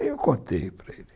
Aí eu contei para ele.